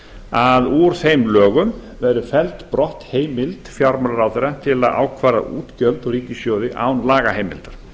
að úr þeim lögum verði felld brott heimild fjármálaráðherra til að ákvarða útgjöld úr ríkissjóði án lagaheimildar